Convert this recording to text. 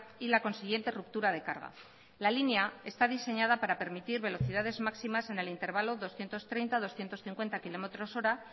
y la consiguiente ruptura de carga la línea está diseñada para permitir velocidades máximas en el intervalo doscientos treinta doscientos cincuenta kilómetros hora